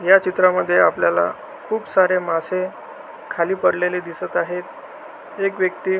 या चित्रा मध्ये आपल्याला खुप सारे मासे खाली पडलेले दिसत आहेत एक व्यक्ती--